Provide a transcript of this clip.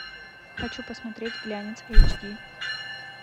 хочу посмотреть глянец эйч ди